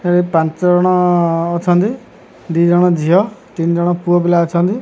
ହେ ପାଞ୍ଚ ଜଣ ଅଛନ୍ତି ଦିଜଣ ଝିଅ ତିନି ଜଣ ପୁଅ ପିଲା ଅଛନ୍ତି।